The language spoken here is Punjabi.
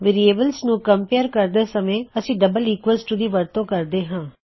ਵੇਅਰਿਏਬਲਜ਼ ਨੂੰ ਕਮਪੇਅਰ ਕਰਦੇ ਸਮੇਂ ਅਸੀਂ ਡਬਲ ਈਕਵਲ ਟੂ ਦੀ ਵਰਤੋਂ ਕਰਦੇ ਹਾਂ